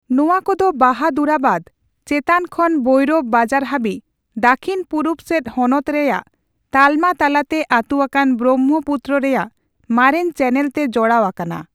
ᱱᱚᱣᱟ ᱠᱚᱫᱚ ᱵᱟᱦᱟᱫᱩᱨᱟᱵᱟᱫᱽ ᱪᱮᱛᱟᱱ ᱠᱷᱚᱱ ᱵᱷᱳᱭᱨᱚᱵ ᱵᱟᱡᱟᱨ ᱦᱟᱹᱵᱤᱡ ᱫᱟᱹᱠᱷᱤᱱᱼᱯᱩᱨᱩᱵ ᱥᱮᱫ ᱦᱚᱱᱚᱛ ᱨᱮᱭᱟᱜ ᱛᱟᱞᱢᱟ ᱛᱟᱞᱟᱛᱮ ᱟᱹᱛᱩ ᱟᱠᱟᱱ ᱵᱨᱚᱢᱵᱷᱚᱯᱩᱛᱛᱨᱚ ᱨᱮᱭᱟᱜ ᱢᱟᱨᱮᱱ ᱪᱮᱱᱮᱞ ᱛᱮ ᱡᱚᱲᱟᱣ ᱟᱠᱟᱱᱟ ᱾